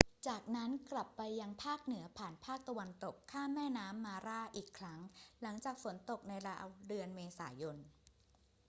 จากนั้นกลับไปยังภาคเหนือผ่านภาคตะวันตก ข้ามแม่น้ำมาร่าอีกครั้ง หลังจากฝนตกในราวเดือนเมษายน